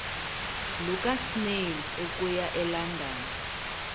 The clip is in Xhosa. lukasnail okuya elondon